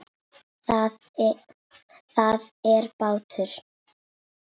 Það er bátur.